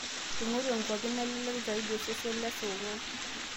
aingoru e nkopi nalelek zaidi osesesn le saa onguan